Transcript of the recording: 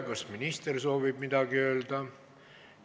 Kas minister soovib midagi öelda?